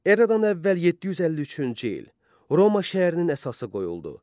Eradan əvvəl 753-cü il, Roma şəhərinin əsası qoyuldu.